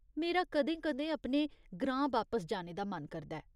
मेरा कदें कदें अपने ग्रां बापस जाने दा मन करदा ऐ।